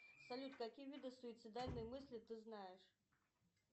салют какие виды суицидальной мысли ты знаешь